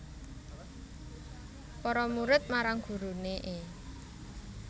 Para murid marang gurune e